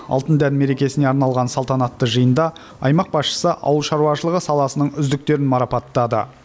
алтын дән мерекесіне арналған салтанатты жиында аймақ басшысы ауыл шаруашылығы саласының үздіктерін марапаттады